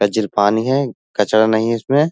पानी है कचड़ा नहीं है इसमें।